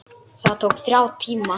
Það tók þrjá tíma.